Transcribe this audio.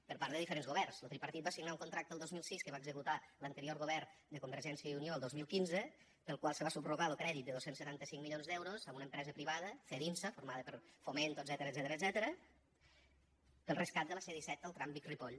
per part de diferents governs lo tripartit va signar un contracte el dos mil sis que va executar l’anterior govern de convergència i unió el dos mil quinze pel qual se va subrogar lo crèdit de dos cents i setanta cinc milions d’euros a una empresa privada cedinsa formada per fomento etcètera per al rescat de la c disset del tram vic ripoll